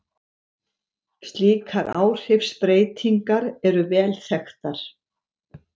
Slíkar áhrifsbreytingar eru vel þekktar.